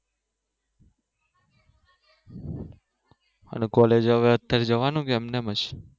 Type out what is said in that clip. અને college હવે જવાનું કે એમ ને એમ જ